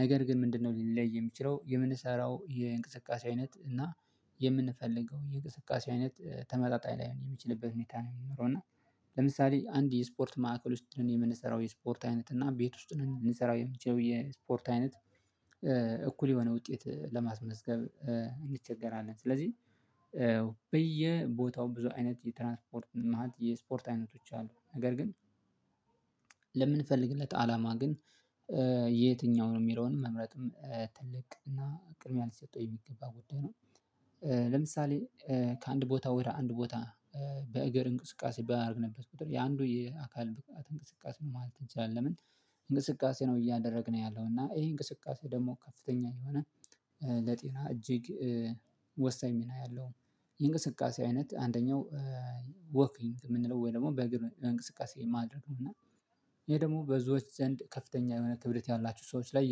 ነገር ግን ምንድነው ሊለይ የሚችለው የምንሰራው የእንቅስቃሴ አይነት እና የምንፈልገው የእንቅስቃሴ አይነት ተመጣጣኝ ላይሆን የሚችልበት ሁኔታ ነው የሚኖረው እና ለምሳሌ አንድ የስፖርት ማዕከል ውስጥ ሁነን የምንሰራው የስፖርት አይነት እና ቤት ውስጥ ሁነን የምንሰራው የምንችለው የስፖርት አይነት እኩል የሆነ ውጤት ለማስመዝገብ እንቸገራለን ስለዚህ በየቦታው ብዙ አይነት የትራንስፖርት መዓት የስፖርት አይነቶች አሉ። ነገር ግን ለምንፈልግለት አላማ ግን የትኛውን የሚለውን መምረጥም ትልቅ እና ቅድሚያ ሊሰጠው የሚገባ ጉዳይ ነው። ለምሳሌ ከአንድ ቦታ ወደ አንድ ቦታ በእግር እንቅስቃሴ ባደርግንበት ቁጥር የአንዱ የአካል ብቃት እንቅስቃሴ ነው ማለት እንችላለን። ለምን እንቅስቃሴ ነው እያደረግን ያለው እና ይሄ እንቅስቃሴ ደግሞ ከፍተኛ የሆነ ለጤና እጅግ ወሳኝ ሚና ያለው የእንቅስቃሴ አይነት አንደኛው ወኪንግ የምንለው ወይ ደግሞ በግል እንቅስቃሴ ማድረግ ነው። እና ይሄ ደግሞ በዙዎች ዘንድ ከፍተኛ የሆነ ክብደት ያላችሁ ሰዎች ላይ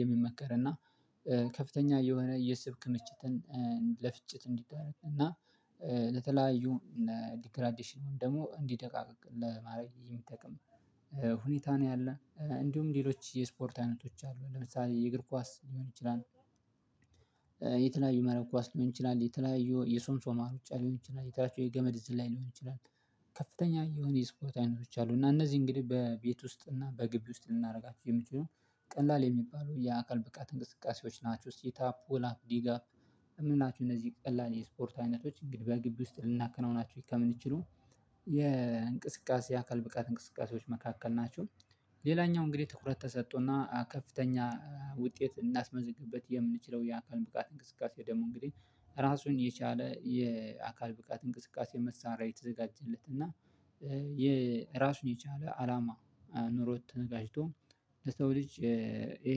የሚመከር እና ከፍተኛ የሆነ የስብ ክምችትን ለፍጭት እንዲዳረግ እና ለተለያዩ እና ዲግራዲሽኑን ደግሞ እንዲደቃቅቅ ለማድረግ የሚጠቅም ሁኔታ ነው ያለ እንዲሁም ሌሎች የስፖርት አይነቶች አሉ ለምሳሌ የእግር ኳስ ሊሆን ይችላል። የተለያዩ መረብ ኳስ ሊሆን ይችላል የተለያዩ የሶምሶማ ሩጫ ሊሆን ይችላል የታቹ የገመድ ዝላይ ሊሆን ይችላል ከፍተኛ የሆነ የስፖርት አይነቶች አሉ። እና እነዚህ እንግዲህ በቤት ውስጥ እና በግቢ ውስጥ ልናደርጋችሁ የሚችሉ ቀላል የሚባሉ የአካል ብቃት እንቅስቃሴዎች ናቸው። ሲታፕ ፑላፕ ዲጋፕ ምንላቸው እነዚህ ቀላል የስፖርት አይነቶች እንግዲህ በግቢ ውስጥ ልናከናውናችሁ ከምንችሉ የእንቅስቃሴ አካል ብቃት እንቅስቃሴዎች መካከል ናቸው። ሌላኛው እንግዲህ ትኩረት ተሰጦና ከፍተኛ ውጤት እናስመዝግበት የምንችለው የአካል ብቃት እንቅስቃሴ ደግሞ እንግዲህ ራሱን የቻለ የአካል ብቃት እንቅስቃሴ መሳሪያ የተዘጋጀለት እና የራሱን የቻለ አላማ ኖሮት ተነጋጅቶ ለሰው ልጅ ይሄ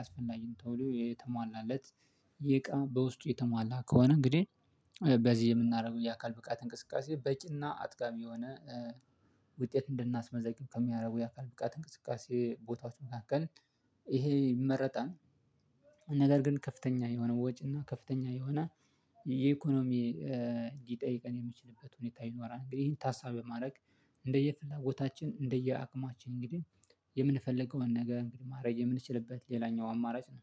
አስፈላጊ ነው ተብሎ የተሟላለት የእቃ በውስጡ የተሟላ ከሆነ እንግዲህ በዚህ የምናደርገው የአካል ብቃት እንቅስቃሴ በቂና አጥጋቢ የሆነ ውጤት እንድናስመዘግብ ከሚያደርጉ የአካል ብቃት እንቅስቃሴ ቦታዎች መካከል ይሄ ይመረጣል። ነገር ግን ከፍተኛ የሆነ ወጪ እና ከፍተኛ የሆነ የኢኮኖሚ ሊጠይቀን የሚችልበት ሁኔታ ይኖራል። እንግዲህ ይሄን ታሳቢ በማድረግ እንደየፍላጎታችን እንደየ አቅማችን እንግዲህ የምንፈልገውን ነገር እንግዲህ ማረግ የምንችልበት ሌላኛው አማራጭ ነው